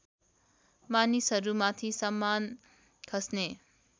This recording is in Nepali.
मानिसहरूमाथि सामान खस्ने